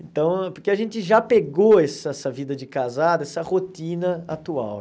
Então, porque a gente já pegou essa essa vida de casado, essa rotina atual.